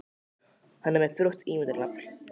Hann er með frjótt ímyndunarafl.